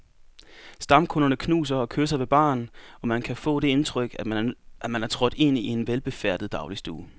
Stamkunderne knuser og kysser ved baren, og man kan få det indtryk, at man er trådt ind i en velbefærdet dagligstue.